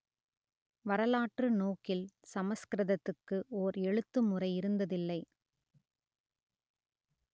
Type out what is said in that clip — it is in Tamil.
வரலாற்று நோக்கில் சமஸ்கிருதத்துக்கு ஓர் எழுத்துமுறை இருந்ததில்லை